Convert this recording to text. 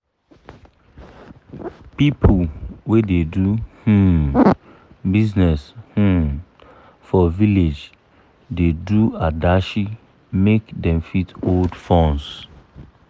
pipu wey da do um business um for village da do adashi make dem fit hold funds